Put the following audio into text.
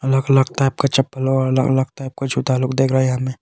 अलग अलग टाइप का चप्पल और अलग अलग टाइप का जूता लोग दिख रहे हैं यहां में।